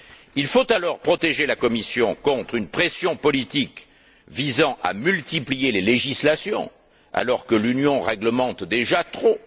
Il faut alors protéger la Commission contre une pression politique visant à multiplier les législations alors que l'Union réglemente déjà trop.